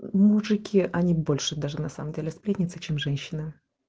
мужики они больше даже на самом деле сплетница чем женщина